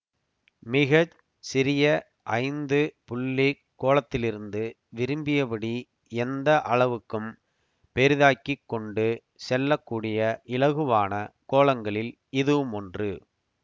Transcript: மிக சிறிய ஐந்து புள்ளிக் கோலத்திலிருந்து விரும்பியபடி எந்த அளவுக்கும் பெரிதாக்கிக் கொண்டு செல்ல கூடிய இலகுவான கோலங்களில் இதுவுமொன்று